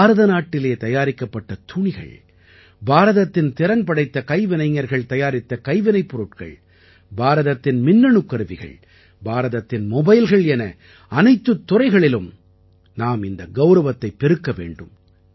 பாரத நாட்டிலே தயாரிக்கப்பட்ட துணிகள் பாரதத்தின் திறன்படைந்த கைவினைஞர்கள் தயாரித்த கைவினைப் பொருள்கள் பாரதத்தின் மின்னணுக் கருவிகள் பாரதத்தின் மொபைல்கள் என அனைத்துத் துறைகளிலும் நாம் இந்த கௌரவத்தைப் பெருக்க வேண்டும்